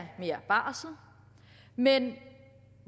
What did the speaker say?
mere barsel men